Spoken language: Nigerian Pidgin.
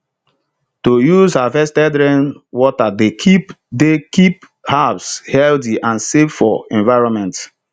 to use harvested rainwater dey keep dey keep herbs healthy and safe for environment